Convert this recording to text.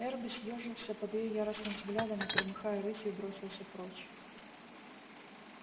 эрби съёжился под её яростным взглядом и громыхая рысью бросился прочь